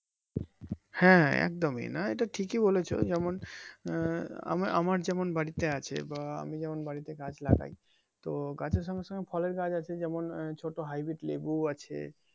হ্যাঁ একদম ই নাহ এইটা ঠিকিই বলেছো যেমন আহ আমার আমার যেমন বাড়ীতে আছে বা আমি যেমন বাড়ীতে গাছ লাগাই তো গাছের সঙ্গে সঙ্গে ফলের গাছ আছে যেমন ছোট হাইব্রিড লেবু ও আছে